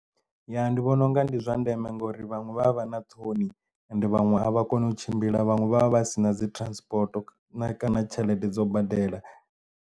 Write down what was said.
Ya ndi vhona unga ndi zwa ndeme ngauri vhaṅwe vha vha vha na ṱhoni and vhaṅwe a vha koni u tshimbila vhaṅwe vha vha vha si na dzi transport na kana tshelede dzo badela.